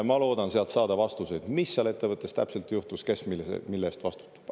Ma loodan sealt saada vastuseid, mis seal ettevõttes täpselt juhtus ja kes mille eest vastutab.